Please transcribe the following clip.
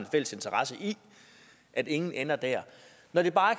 en fælles interesse i at ingen ender dér når det bare